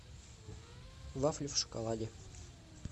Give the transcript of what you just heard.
вафли в шоколаде